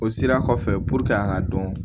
O sira kɔfɛ an ka dɔn